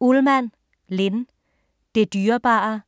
Ullmann, Linn: Det dyrebare